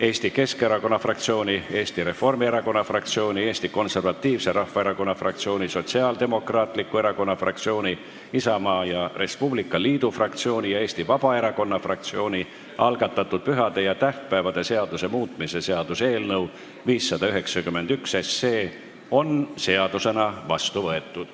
Eesti Keskerakonna fraktsiooni, Eesti Reformierakonna fraktsiooni, Eesti Konservatiivse Rahvaerakonna fraktsiooni, Sotsiaaldemokraatliku Erakonna fraktsiooni, Isamaa ja Res Publica Liidu fraktsiooni ja Eesti Vabaerakonna fraktsiooni algatatud pühade ja tähtpäevade seaduse muutmise seaduse eelnõu 591 on seadusena vastu võetud.